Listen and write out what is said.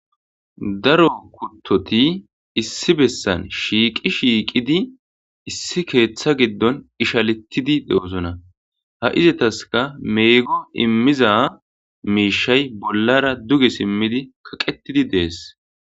Daro kuttoti issi bessan shiiqi shiiqidi issi keeththa giddon ishaletidi de'osona ha izataska meego immiza miishay bollara duge simmidi kaqetidi dees.